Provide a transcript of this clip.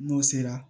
N'o sera